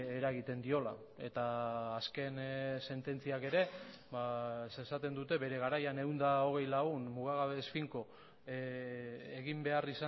eragiten diola eta azken sententziak ere esaten dute bere garaian ehun eta hogei lagun mugagabe ez finko egin behar